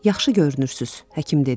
Yaxşı görünürsünüz, həkim dedi.